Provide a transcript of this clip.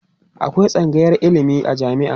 akwai tsangayar ilimi a jami'a